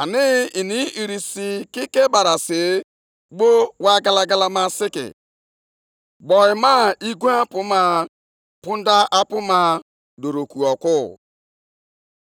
anyị, mgbe ha si nʼobi ụtọ ha chee na ha na-aga iripịa ndị ogbenye e wedara nʼala, bụ ndị na-ezo onwe ha.